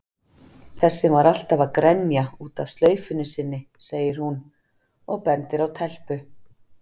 Þessi var alltaf að grenja út af slaufunni sinni, segir hún og bendir á telpu.